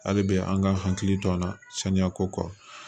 Hali bi an ka hakili to an na saniya ko kɔ